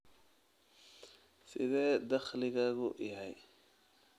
Sidee dakhligaagu yahay?